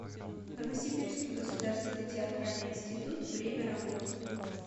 новосибирский государственный театральный институт время работы